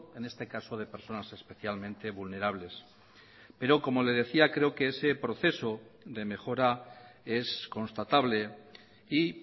en este caso de personas especialmente vulnerables pero como le decía creo que ese proceso de mejora es constatable y